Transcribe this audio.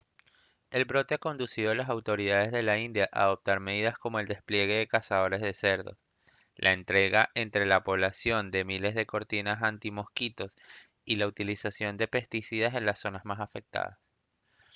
el brote ha conducido a las autoridades de la india a adoptar medidas como el despliegue de cazadores de cerdos la entrega entre la población de miles de cortinas antimosquitos y la utilización de pesticidas en las zonas más afectadas